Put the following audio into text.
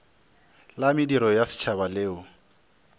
la mediro ya setšhaba leo